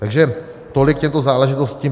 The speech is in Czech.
Takže tolik k těmto záležitostem.